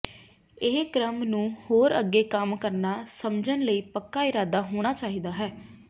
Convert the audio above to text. ਇਹ ਕ੍ਰਮ ਨੂੰ ਹੋਰ ਅੱਗੇ ਕੰਮ ਕਰਨਾ ਸਮਝਣ ਲਈ ਪੱਕਾ ਇਰਾਦਾ ਹੋਣਾ ਚਾਹੀਦਾ ਹੈ